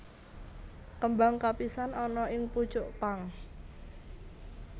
Kembang kapisan ana ing pucuk pang